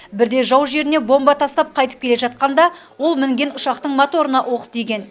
бірде жау жеріне бомба тастап қайтып келе жатқанда ол мінген ұшақтың моторына оқ тиген